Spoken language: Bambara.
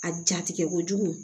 A jatigɛ kojugu